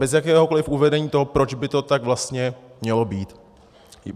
Bez jakéhokoliv uvedení toho, proč by to tak vlastně mělo být.